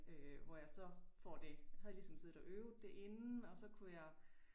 Øh hvor jeg så får det havde ligesom siddet og øvet det inden og så kunne jeg